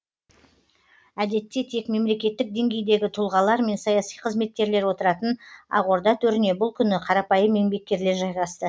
әдетте тек мемлекеттік деңгейдегі тұлғалар мен саяси қызметкерлер отыратын ақорда төріне бұл күні қарапайым еңбеккерлер жайғасты